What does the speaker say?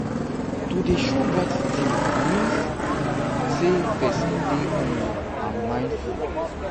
to de show gratitude mean um say persin de humble and mindful